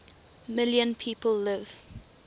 million people live